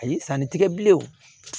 Ayi sanni tigɛ bilenw